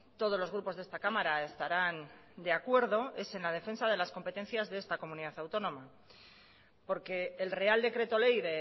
todos los grupos de esta cámara estarán de acuerdo es en la defensa de las competencias de esta comunidad autónoma porque el real decreto ley